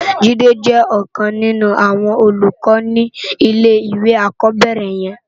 Jide jè òkan ninú áwòn ólúkò ni ilé iwé ákòbèrè yèn